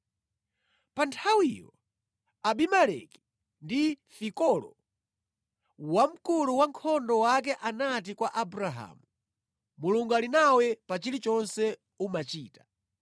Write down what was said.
Pa nthawiyo, Abimeleki ndi Fikolo wamkulu wankhondo wake anati kwa Abrahamu, “Mulungu ali nawe pa chilichonse umachita.